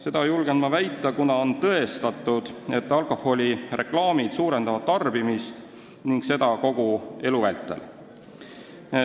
Seda julgen ma väita, kuna on tõestatud, et alkoholireklaamid suurendavad tarbimist ning seda kogu elu vältel.